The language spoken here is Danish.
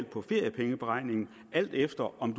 på feriepengeberegningen alt efter om